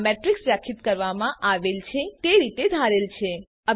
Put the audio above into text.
આ મેટ્રિક્સ વ્યાખ્યાયિત કરવામાં આવેલ છે તે રીતે ધારેલ છે